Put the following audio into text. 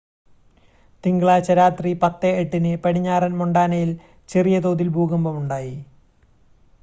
തിങ്കളാഴ്ച രാത്രി 10:08-ന് പടിഞ്ഞാറൻ മൊണ്ടാനയിൽ ചെറിയ തോതിൽ ഭൂകമ്പം ഉണ്ടായി